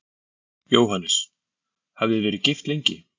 Jóhannes: Hafið þið verið gift lengi?